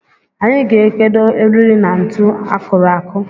Anyị ga-ekedo eriri na ntụ akụrụ akụ